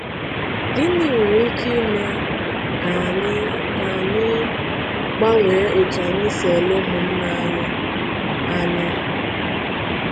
Gịnị nwere ike ime ka anyị ka anyị gbanwee otú anyị si ele ụmụnna anyị anya?